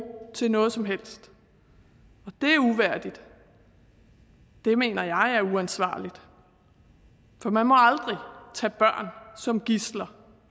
til noget som helst og det er uværdigt og det mener jeg er uansvarligt for man må aldrig tage børn som gidsler